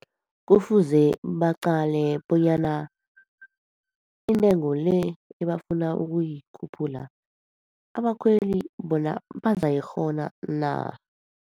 Kufuze baqale bonyana intengo le ebafuna ukuyikhuphula, abakhweli bona bazayikghona na.